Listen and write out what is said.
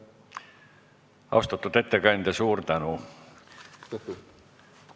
Austatud ettekandja, suur tänu!